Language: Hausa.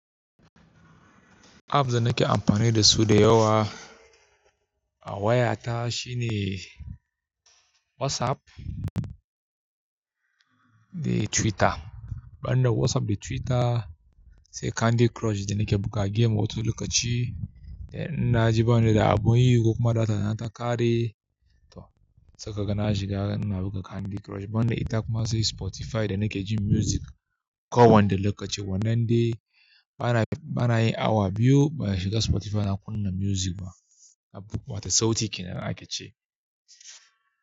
Apps da nake amfani da su da yawa a wayata shine WhatsApp da Twitter. Banda WhatsApp da Twitter sai Candy Crush da nake buga game wato lokaci da ina ji bana da abin yi ko kuma data nata kare to sakaga na shiga ina buga Candy Crush. Banda ita kuma sai Spotify da nake jin music kowanne lokaci. Wannan dai bana yi awa biyu ba shiga Spotify na kunna music ba, wata sauti kenan ake ci.